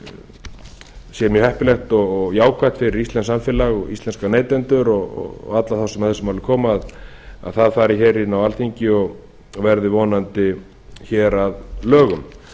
það sé mjög heppilegt og jákvætt fyrir íslenskt samfélag og íslenska neytendur og alla þá sem að þessu máli koma að það fari hér inn á alþingi og verði vonandi hér að lögum